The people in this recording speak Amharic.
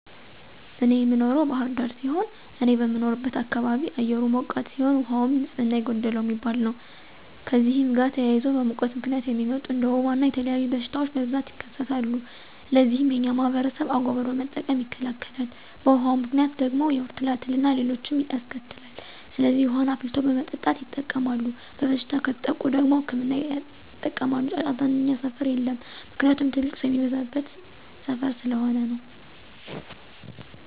እኔ የምኖረው ባህር ዳር ሲሆን፤ እኔ በምኖርበት አካባቢ አየሩ ሞቃታ ሲሆን፤ ውሃውም ንፅህና የጎደለው የሚባል ነው። ከእነዚህም ጋር ተያይዞ በሙቀት ምክንያት የሚመጡ እንደ ወባ እና የተለያዩ በሽታወች በብዛት ይከሰታል። ለዚህም የኛ ማህበረሰብ አጎበር በመጠቀም ይከላከላል። በውሀው ምክንያት ደግሞ የሆድ ትላትል አና ሌሎችንም ያስከትላል። ስለዚህ ውሀን አፍልቶ በመጠጣት ይጠቀማል። በበሽታ ከተጠቁ ደግሞ ህክምና ያጠቀማሉ። ጫጫታ እኛ ሰፈር የለም። ምክንያቱም ትልቅ ሰው የሚበዛበት ሰፈር ስለሆነ ነው።